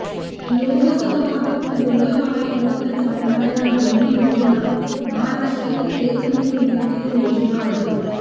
लोकसहभागातून दिर्घ काळापर्यंत चालणाऱ्या या दोन्ही योजना महाराष्ट्रातील एकमेवद्वीतीय योजना आहे